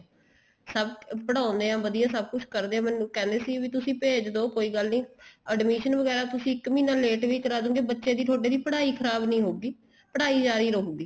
ਸਭ ਪੜਾਉਦੇ ਏ ਵਧੀਆ ਸਭ ਕੁੱਛ ਕਰਦੇ ਏ ਮੈਨੂੰ ਕਹਿੰਦੇ ਸੀ ਤੁਸੀਂ ਭੇਜ ਦੋ ਕੋਈ ਗੱਲ ਨਹੀਂ admission ਵਗੈਰਾ ਤੁਸੀਂ ਇੱਕ ਮਹੀਨਾ ਲੇਟ ਵੀ ਕਰਾਦੋਗੇ ਬੱਚੇ ਦੀ ਤੁਹਾਡੇ ਦੀ ਪੜਾਈ ਖ਼ਰਾਬ ਨਹੀਂ ਹਉਗੀ ਪੜਾਈ ਜਾਰੀ ਰਹੂਗੀ